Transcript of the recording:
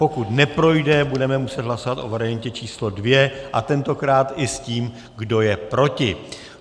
Pokud neprojde, budeme muset hlasovat o variantě číslo 2 a tentokrát i s tím, kdo je proti.